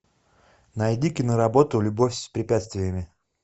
найди киноработу любовь с препятствиями